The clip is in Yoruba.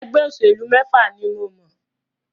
Ẹgbẹ́ òṣèlú mẹ́fà ni mọ̀.